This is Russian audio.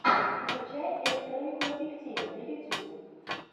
включай электронику в объективе на ютьюбе